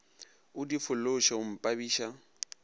o di fološe o mpabiša